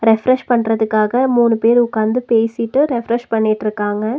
Refresh பண்றதுக்காக மூணு பேர் உக்காந்து பேசிட்டு ரெஃப்ரெஷ் பண்ணிட்ருக்காங்க.